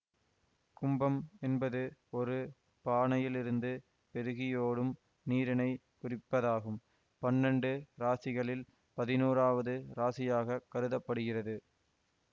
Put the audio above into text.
கும்பம் என்பது ஒரு பானையிலிருந்து பெருகியோடும் நீரினை குறிப்பதாகும் பன்னெண்டு இராசிகளில் பதினோராவது இராசியாக கருத படுகிறது